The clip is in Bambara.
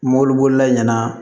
Mɔbilibolila ɲɛna